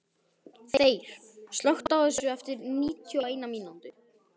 Þeyr, slökktu á þessu eftir níutíu og eina mínútur.